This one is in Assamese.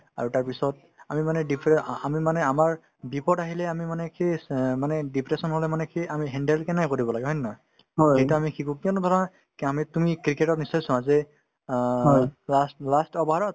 আৰু তাৰপিছত আমি মানে dear আ আমি মানে আমাৰ বিপদ আহিলে আমি মানে সেই চ অ মানে depression হলে মানে সেই আমি handle কেনেকে কৰিব লাগে হয় নে নহয় এইটো আমি শিকো কিয়নো ধৰা কে আমি তুমি cricket তত নিশ্চয় চোৱা যে অ last last over ত